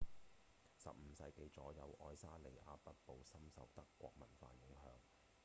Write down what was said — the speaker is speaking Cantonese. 15世紀左右愛沙尼亞北部深受德國文化影響